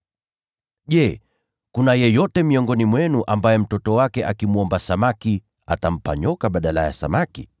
“Je, kuna yeyote miongoni mwenu ambaye mtoto wake akimwomba samaki, atampa nyoka badala yake?